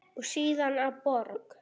og síðar að borg.